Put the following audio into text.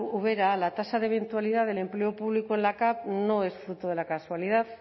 ubera la tasa de eventualidad del empleo público en la capv no es fruto de la casualidad